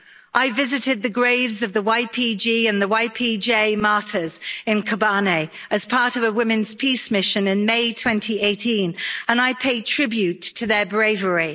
I visited the graves of the YPG and the YPJ martyrs in Kobane as part of a women's peace mission in May 2018, and I paid tribute to their bravery.